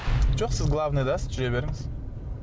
жоқ сіз главныйдасыз жүре беріңіз